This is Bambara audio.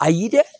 Ayi dɛ